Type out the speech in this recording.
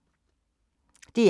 DR K